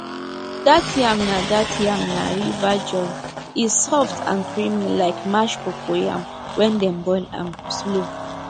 that yam na that yam na river joy e soft and creamy like mashed cocoyam when dem boil am slow